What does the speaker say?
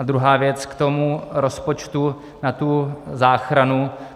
A druhá věc k tomu rozpočtu na tu záchranu.